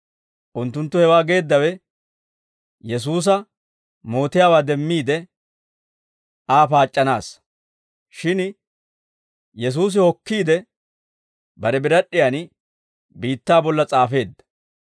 Unttunttu hewaa geeddawe Yesuusa mootiyaawaa demmiide Aa paac'c'anaassa; shin Yesuusi hokkiide, bare birad'd'iyan biittaa bolla s'aafeedda.